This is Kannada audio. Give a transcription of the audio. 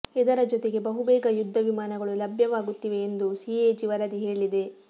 ಇದರ ಜೊತೆಗೆ ಬಹುಬೇಗ ಯುದ್ಧವಿಮಾನಗಳು ಲಭ್ಯವಾಗುತ್ತಿವೆ ಎಂದು ಸಿಎಜಿ ವರದಿ ಹೇಳಿದೆ